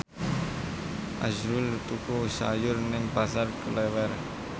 azrul tuku sayur nang Pasar Klewer